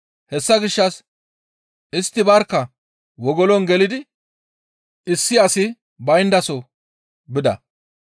Hessa gishshas istti barkka wogolon gelidi issi asikka bayndaso bida.